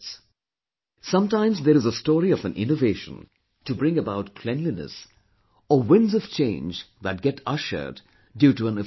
Sometimes there is a story of an innovation to bring about cleanliness or winds of change that get ushered due to an official's zeal